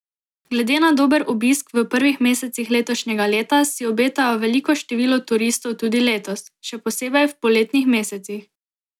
Glede na dober obisk v prvih mesecih letošnjega leta si obetajo veliko število turistov tudi letos, še posebej v poletnih mesecih.